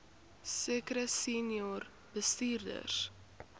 sekere senior bestuurders